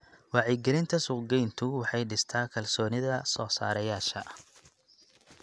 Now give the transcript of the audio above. Wacyigelinta suuqgeyntu waxay dhistaa kalsoonida soo-saareyaasha.